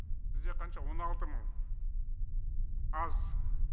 бізде қанша он алты мың аз